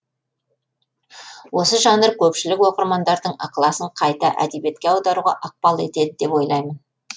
осы жанр көпшілік оқырмандардың ықыласын қайта әдебиетке аударуға ықпал етеді деп ойлаймын